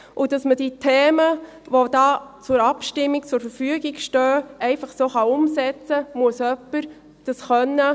Diese muss jemand beherrschen, damit man die Themen, die für die Abstimmung zur Verfügung stehen, so umsetzen kann.